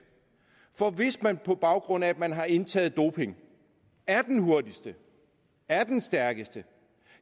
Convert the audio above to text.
for hvis man på baggrund af at man har indtaget doping er den hurtigste er den stærkeste